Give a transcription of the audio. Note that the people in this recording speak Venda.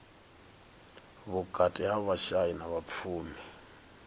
vhukati ha vhashai na vhapfumi